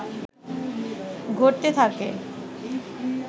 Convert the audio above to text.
ঘটতে থাকে